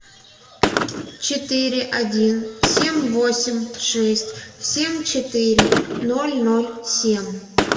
четыре один семь восемь шесть семь четыре ноль ноль семь